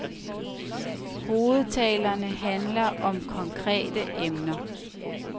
Hovedtalerne handler om konkrete emner.